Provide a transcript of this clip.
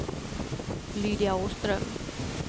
Lydia Åström